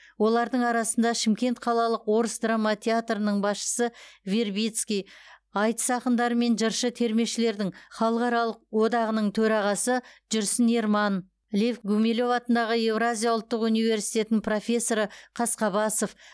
олардың арасында шымкент қалалық орыс драма театрының басшысы вербицкий айтыс ақындары мен жыршы термешілердің халықаралық одағының төрағасы жүрсін ерманов лев гумилев атындағы еуразия ұлттық университетінің профессоры қасқабасов